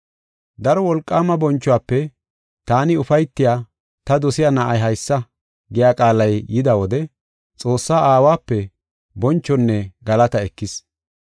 Daro wolqaama bonchuwafe, “Taani ufaytiya, ta dosiya na7ay haysa” giya qaalay yida wode, Xoossaa Aawape bonchonne galata ekis.